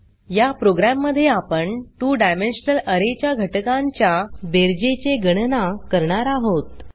या प्रोग्राम मध्ये आपण 2 डायमेन्शनल अरे च्या घटकांच्या बेरजेचे गणाना करणार आहोत